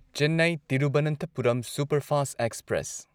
Chennai Thiruvananthapuram superfast express